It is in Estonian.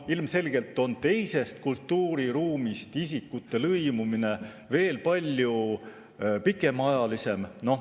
Ilmselgelt on teisest kultuuriruumist isikute lõimumine veel palju pikaajalisem.